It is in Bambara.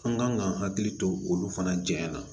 An kan ka hakili to olu fana jɛɲɛna